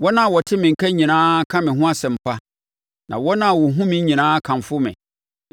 Wɔn a wɔte me nka nyinaa ka me ho asɛmpa, na wɔn a wɔhunu me nyinaa kamfo me,